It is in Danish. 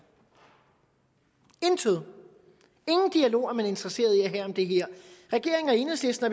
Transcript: intet ingen dialog er man interesseret i at have om det her regeringen og enhedslisten